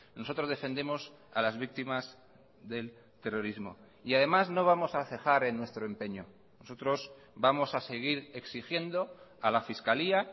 nosotros defendemos a las víctimas del terrorismo y además no vamos a cejar en nuestro empeño nosotros vamos a seguir exigiendo a la fiscalía